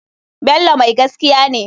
Bello mai gaskiya ne.